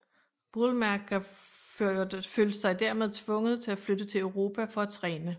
Boulmerka følte sig dermed tvunget til at flytte til Europa for at træne